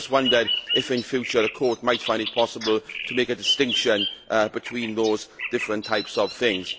I just wondered if in future the Court might find it possible to make a distinction between those different types of things.